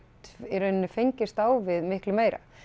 í raun fengist á við miklu meira